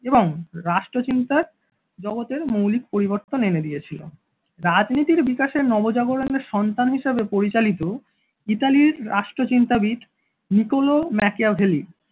এবং রাষ্ট্রচিন্তা জগতের মৌলিক পরিবর্তন এনে দিয়েছিল। সন্তান রাজনীতির বিকাশের নবজাগরণের সন্তান হিসাবে পরিচালিত ইতালির রাষ্ট্রচিন্তাবিদ নিকোলো ম্যাকিয়াভেলি